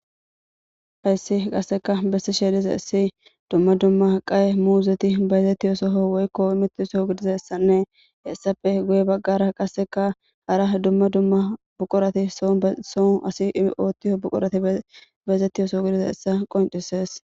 hayssi qasseka bessi sheedize issi dumma dumma aqaye muuzeti bayzettiyosoho woykko imitti soo gidizassanne hessafe guye baggara qasseka hara dumma dumma buqorati soo son asi ootio buqorati bayzettiyosoo gidiza essa qoncises